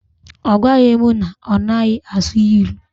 Ọ gwaghi m na ọ naghị asụ ilu.